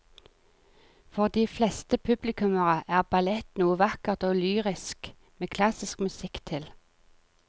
For de fleste publikummere er ballett noe vakkert og lyrisk med klassisk musikk til.